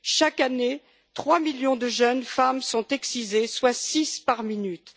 Chaque année, 3 millions de jeunes femmes sont excisées, soit six par minute.